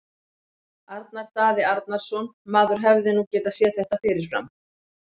Arnar Daði Arnarsson Maður hefði nú getað séð þetta fyrir fram.